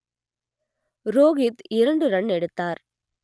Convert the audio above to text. ரோகித் இரண்டு ரன் எடுத்தார்